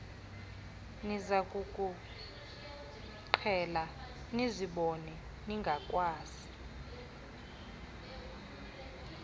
nizakukuqhela nizibone seningakwazi